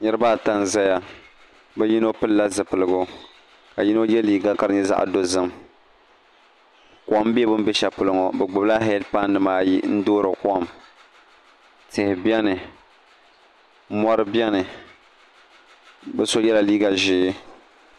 Niraba ata n ʒɛya ni yimo pilila zipiligu ka yimo yɛ liiga ka di nyɛ zaɣ dozim kom bɛ bi ni bɛ shɛli polo ŋo bi gbubila heed pai nimaayi n duɣuri kom tihi biɛni mori biɛni bi so yɛla liiga ʒiɛ